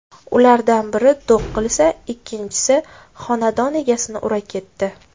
Ulardan biri do‘q qilsa, ikkinchisi xonadon egasini ura ketdi.